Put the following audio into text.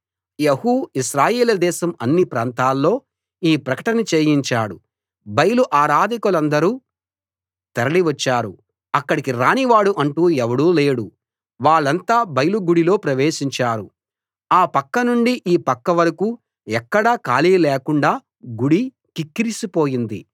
యెహూ ఇశ్రాయేలు దేశం అన్ని ప్రాంతాల్లో ఈ ప్రకటన చేయించాడు బయలు ఆరాధకులందరూ తరలి వచ్చారు అక్కడకు రానివాడు అంటూ ఎవడూ లేడు వాళ్ళంతా బయలు గుడిలో ప్రవేశించారు ఆ పక్క నుండి ఈ పక్క వరకూ ఎక్కడా ఖాళీ లేకుండా గుడి కిక్కిరిసి పోయింది